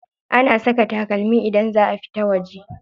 Ana saka takalmi idan za a fita waje.